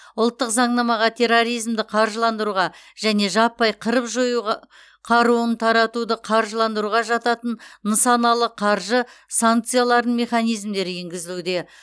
ұлттық заңнамаға терроризмді қаржыландыруға және жаппай қырып жоюға қаруын таратуды қаржыландыруға жататын нысаналы қаржы санкцияларының механизмдері енгізілуде